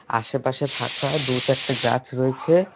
আশেপাশে ফাঁকা দু-চারটে গাছ রয়েছে।